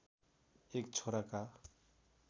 एक छोराका